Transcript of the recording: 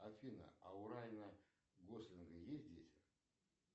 афина а у райана гослинга есть дети